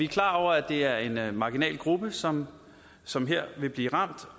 klar over at det er en marginal gruppe som som vil blive ramt